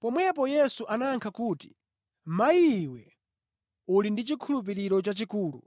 Pomwepo Yesu anayankha kuti, “Mayi iwe uli ndi chikhulupiriro chachikulu!